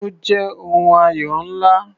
Ó jẹ́ ohun ayọ̀ ńlá.